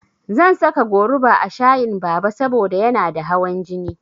Zan saka goruba a shayin Baba saboda yana da hawan jini.